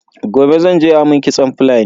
Gobe zan je a mun kitson Fulani.